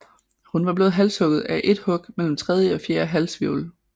Hun var blevet halshugget af et hug mellem tredje og fjerde halshvirvel